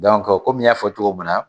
komin n y'a fɔ cogo mun na